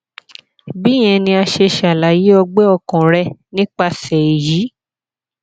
bíyẹn ni a ṣe ṣalaye ọgbẹ ọkàn rẹ nipasẹ eyi